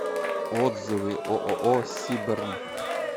отзывы ооо сибрм